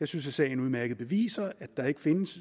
jeg synes at sagen udmærket beviser at der ikke findes